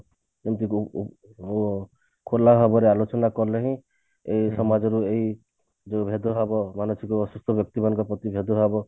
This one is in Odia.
ଖୋଲା ଭାବରେ ଆଲୋଚନା କଲେ ହିଁ ଏଇ ସମାଜରେ ଏଇ ଯୋଉ ଭେଦ ଭାବ ମାନସିକ ଅସୁସ୍ଥ ବ୍ୟକ୍ତି ମାନଙ୍କ ପ୍ରତି ଭେଦ ଭାବ